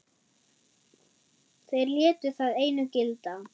Þeir létu það einu gilda.